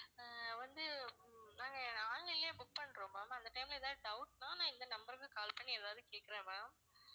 ஆஹ் வந்து ஹம் நாங்க online லேயே book பண்றோம் ma'am அந்த time ல ஏதாவது doubt னா நான் இந்த number க்கு call பண்ணி ஏதாவது கேக்குறேன் ma'am